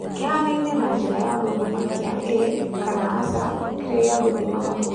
Kĩhanaine na njĩra ya gũthima kia ĩĩ kana aca kĩrĩa gĩa gũthima mahuu.